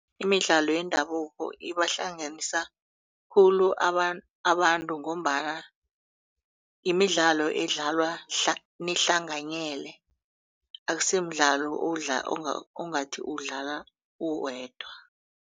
Imidlalo yendabuko ibahlanganisa khulu abantu ngombana imidlalo edlalwa nihlanganyele akusimidlalo ongathi uwudlala uwedwa.